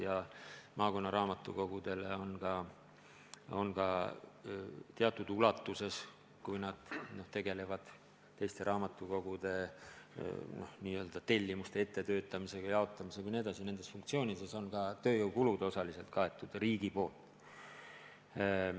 Ka on maakonna raamatukogudel, kui nad tegelevad teiste raamatukogude n-ö tellimuste ettetöötamisega, jaotamisega jne, tööjõukulud osaliselt riigi poolt kaetud.